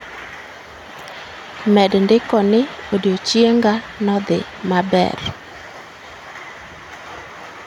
Med ndiko ni odiechienga ne odhi maber